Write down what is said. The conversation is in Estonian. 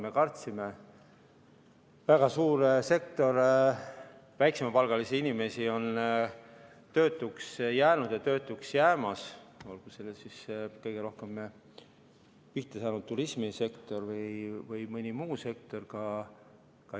Me kartsime, et väga suur osa väiksemapalgalisi inimesi on töötuks jäänud ja töötuks jäämas, olgu selleks siis kõige rohkem pihta saanud turismisektor või mõni muu sektor.